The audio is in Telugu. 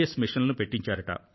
మెషీన్లను పెట్టించారట